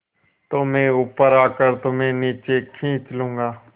तो मैं ऊपर आकर तुम्हें नीचे खींच लूँगा